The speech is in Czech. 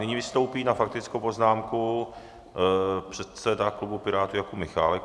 Nyní vystoupí na faktickou poznámku předseda klubu Pirátů Jakub Michálek.